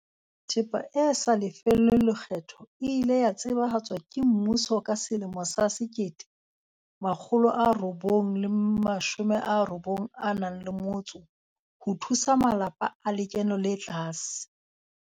Thepa e sa lefellweng lekgetho e ile ya tsebahatswa ke mmuso ka selemo sa 1991 ho thusa malapa a lekeno le tlase.